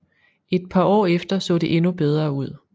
Et par år efter så det endnu bedre ud